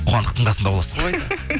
қуандықтың қасында боласың ғой